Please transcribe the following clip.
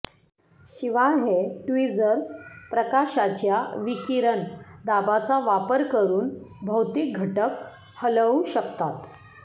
शिवाय हे ट्विझर्स प्रकाशाच्या विकिरण दाबाचा वापर करून भौतिक घटक हलवू शकतात